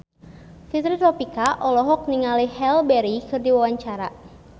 Fitri Tropika olohok ningali Halle Berry keur diwawancara